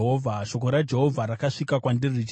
Shoko raJehovha rakasvika kwandiri richiti,